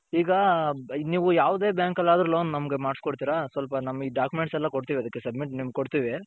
ಈಗ ನೀವು ಯಾವುದೇ bank ಅಲ್ಲಿ ಅದ್ರು loan ಮಾಡಸ್ಕೊಡ್ತೀರ ಸ್ವಲ್ಪ ಈ ನಮ್ಮ documents ಎಲ್ಲಾ ಕೊಡ್ತೀವಿ ನಿಮ್ಮಗ್ ಕೊಡ್ತೀವಿ